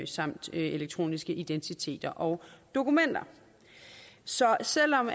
samt elektroniske identiteter og dokumenter så selv om